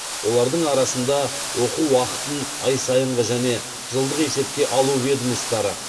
олардың арасында оқу уақытын ай сайынғы және жылдық есепке алу ведомостары